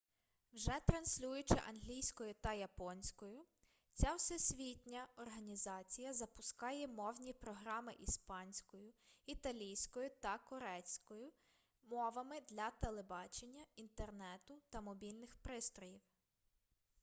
вже транслюючи англійською та японською ця всесвітня організація запускає мовні програми іспанською італійською та корейською мовами для телебачення інтернету та мобільних пристроїв